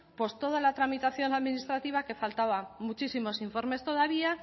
toda la tramitación administrativa que faltaba muchísimos informes todavía